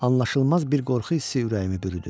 Anlaşılmaz bir qorxu hissi ürəyimi bürüdü.